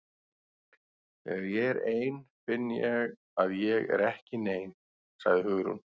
Þegar ég er ein finn ég að ég er ekki nein- sagði Hugrún.